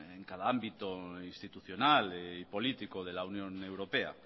en cada ámbito institucional y político de la unión europea